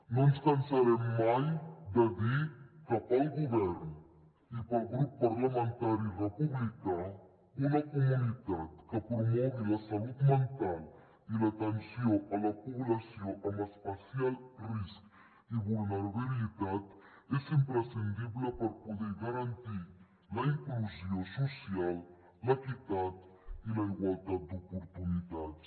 no ens cansarem mai de dir que pel govern i pel grup parlamentari república una comunitat que promogui la salut mental i l’atenció a la població amb especial risc i vulnerabilitat és imprescindible per poder garantir la inclusió social l’equitat i la igualtat d’oportunitats